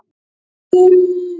Tjón á eignum er mikið.